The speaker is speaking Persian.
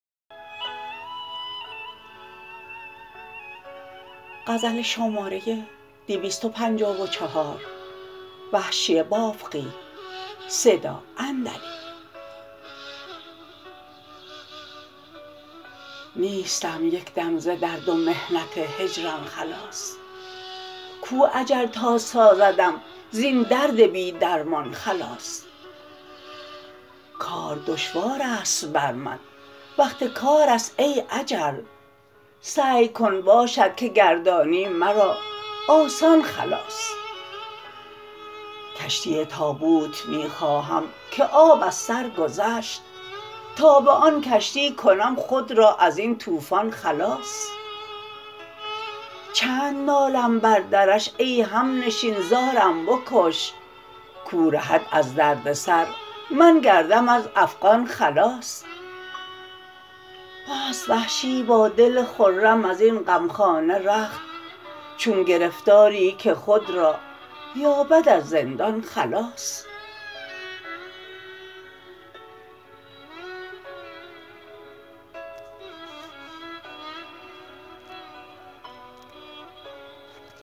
نیستم یک دم ز درد و محنت هجران خلاص کو اجل تا سازدم زین درد بی درمان خلاص کار دشوار است برمن وقت کار است ای اجل سعی کن باشد که گردانی مرا آسان خلاص کشتی تابوت می خواهم که آب از سرگذشت تا به آن کشتی کنم خود را ازین توفان خلاص چند نالم بردرش ای همنشین زارم بکش کو رهد از درد سر من گردم از افغان خلاص بست وحشی با دل خرم ازین غمخانه رخت چون گرفتاری که خود را یابد از زندان خلاص